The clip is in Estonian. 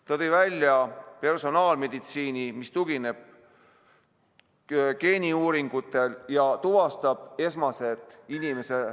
Ta tõi välja personaalmeditsiini, mis tugineb geeniuuringutele ja tuvastab esmased inimese ...